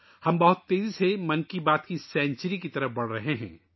ہم تیزی سے 100 ویں ' من کی بات ' کی طرف بڑھ رہے ہیں